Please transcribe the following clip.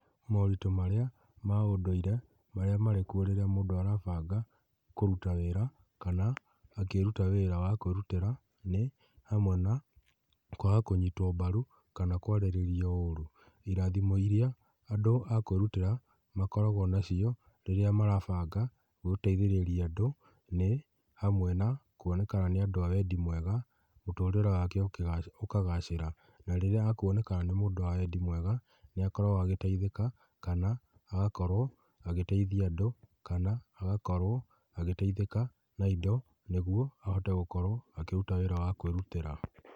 Moritũ maría ma ũndũire marĩa marĩkuo rĩrĩa mũndũ arabanga kũrũta wĩra, kana akĩruta wĩra wa kwĩrutĩra, nĩ hamwe na kwaga kũnyitwo mbaru kana kwarĩrĩrio ũru, irathimo iria andũ a kwĩrutĩra makoragwo nacio rĩrĩa marabanga gũteithĩrĩria andũ, nĩ hamwe na kwona kana nĩ andũ a wendi mwega mũtũrĩre wake ũkagacĩra, na rĩrĩa akwoneka nĩ mũndũ wa wendi mwega, nĩ akoragwo agĩteithĩka, kana agakorwo agĩteithia andũ, kana agakorwo agĩteithĩka na indo, nĩguo ahote gũkorwo akĩruta wĩra wa kwĩrutĩra.